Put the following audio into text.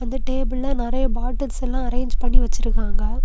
இந்த டேபிள்ல நெறைய பாட்டில்ஸ் எல்லாம் அரேங்ஞ் பண்ணி வெச்சிருக்காங்க.